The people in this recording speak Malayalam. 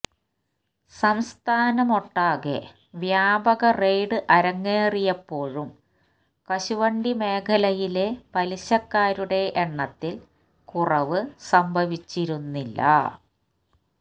സംസ്ഥാനമൊട്ടാകെ വ്യാപക റെയ്ഡ് അരങ്ങേറിയപ്പോഴും കശുവണ്ടി മേഖലയിലെ പലിശക്കാരുടെ എണ്ണത്തില് കുറവ് സംഭവിച്ചിരുന്നില്ല